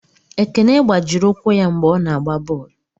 Ekene gbajiri ụkwụ ya mgbe ọ na-agba bọọlụ.